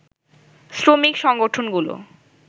শ্রমিক সংগঠনগুলো